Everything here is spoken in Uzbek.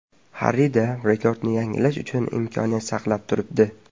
Harrida rekordni yangilash uchun imkoniyat saqlanib turibdi.